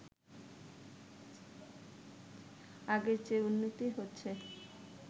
আগের চেয়ে উন্নতি হচ্ছে